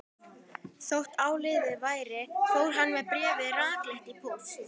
Þótt áliðið væri fór hann með bréfið rakleitt í póst.